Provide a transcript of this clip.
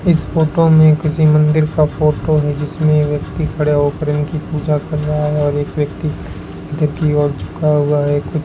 इस फोटो में किसी मंदिर का फोटो है जिसमें व्यक्ति खड़ा होकर इनकी पूजा कर रहा है और एक व्यक्ति अंदर की ओर झुका हुआ है।